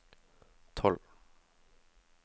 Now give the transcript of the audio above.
tolv